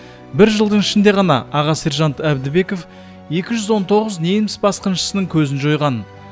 бір жылдың ішінде ғана аға сержант әбдібеков екі жүз он тоғыз неміс басқыншысының көзін жойған